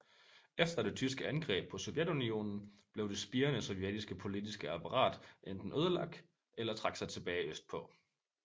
Efter det tyske angreb på Sovjetunionen blev det spirende sovjetiske politiske apparat enten ødelagt eller trak sig tilbage østpå